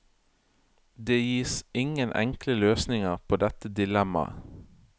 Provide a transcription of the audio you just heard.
Det gis ingen enkle løsninger på dette dilemmaet.